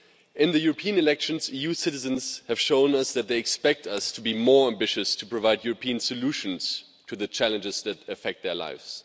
In the European elections EU citizens have shown us that they expect us to be more ambitious to provide European solutions to the challenges that affect their lives.